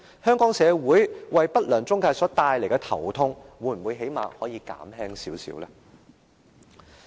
不良中介為香港社會帶來的頭痛會否減輕一些？